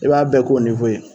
E b'a bɛɛ k'o nwo ye